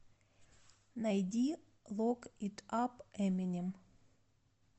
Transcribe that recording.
найди лок ит ап эминем